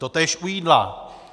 Totéž u jídla.